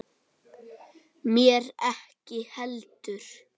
Mér ekki heldur.